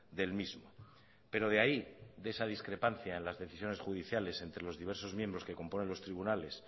del mismo pero de ahí de esa discrepancia en las decisiones judiciales entre los diversos miembros que componen los tribunales